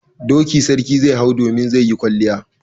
Doki sarki zai hau domin zai yi kwalliya.